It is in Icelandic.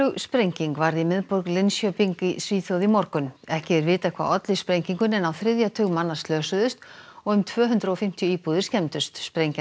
sprenging varð í miðborg Linköping í Svíþjóð í morgun ekki er vitað hvað olli sprengingunni en á þriðja tug manna slösuðust og um tvö hundruð og fimmtíu íbúðir skemmdust sprengjan